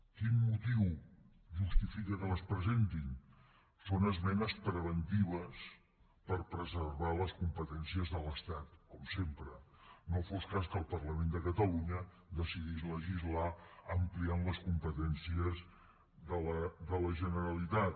quin motiu justifica que les presentin són esmenes preventives per preservar les competències de l’estat com sempre no fos cas que el parlament de catalunya decidís legislar ampliant les competències de la generalitat